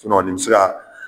nin mi se ka